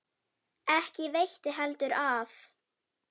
Ekki veitti heldur af.